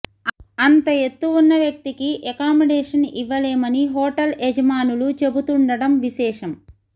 అంత ఎత్తు ఉన్న వ్యక్తికి ఎకామిడేషన్ ఇవ్వలేమని హోటల్ యజమానులు చెబుతుండటం విశేషం